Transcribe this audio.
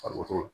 Farisoko